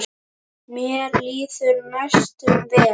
Mér líður næstum vel.